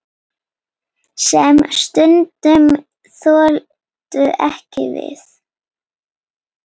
Sem stundum þoldu ekki við.